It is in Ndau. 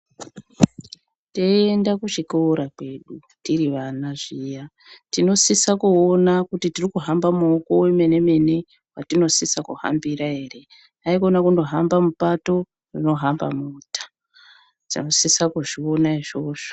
Teienda kuchikora kwedu tiri vana zviya tinosisa kuona kuti tiri hamba mooko wemene mene watinosisa kuhambira ere haikona kundohamba mupato rinohamba mota tinosisa kuzviona izvozvo.